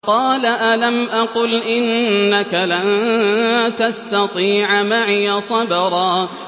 قَالَ أَلَمْ أَقُلْ إِنَّكَ لَن تَسْتَطِيعَ مَعِيَ صَبْرًا